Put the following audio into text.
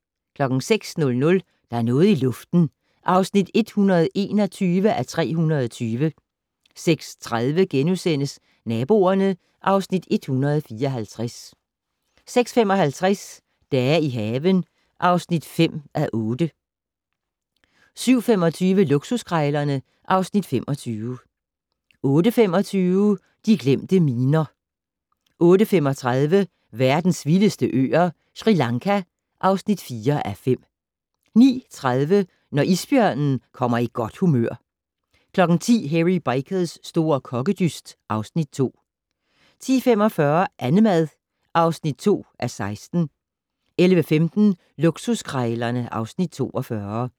06:00: Der er noget i luften (121:320) 06:30: Naboerne (Afs. 154)* 06:55: Dage i haven (5:8) 07:25: Luksuskrejlerne (Afs. 25) 08:25: De glemte miner 08:35: Verdens vildeste øer - Sri Lanka (4:5) 09:30: Når isbjørnen kommer i godt humør 10:00: Hairy Bikers' store kokkedyst (Afs. 2) 10:45: Annemad (2:16) 11:15: Luksuskrejlerne (Afs. 42)